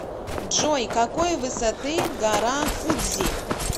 джой какой высоты гора фудзи